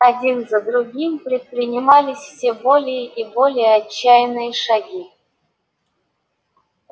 один за другим предпринимались все более и более отчаянные шаги